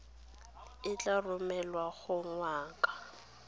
e tla romelwa go ngaka